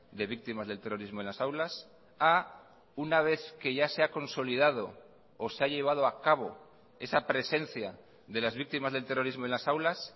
de víctimas del terrorismo en las aulas a una vez que ya se ha consolidado o se ha llevado a cabo esa presencia de las víctimas del terrorismo en las aulas